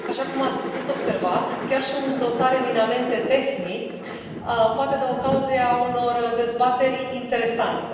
Așa cum ați putut observa, chiar și un dosar eminamente tehnic poate da ocazia unor dezbateri interesante.